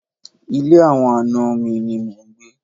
Ilé àwọn àna mi ni mò ń gbé.